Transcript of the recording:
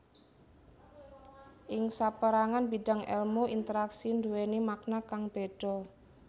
Ing sapérangan bidang èlmu interaksi nduwèni makna kang béda